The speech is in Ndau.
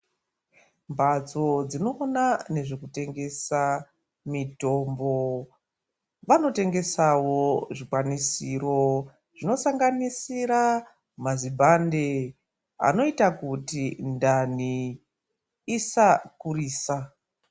Mbatso dzinona nezvekutengesa mitombo vanotengesavo zvikwanisiro. Zvinosanganisira mazibhande anoita kuti ndani isakurisa.